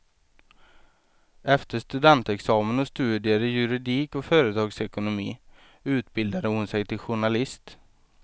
Efter studentexamen och studier i juridik och företagsekonomi utbildade hon sig till journalist.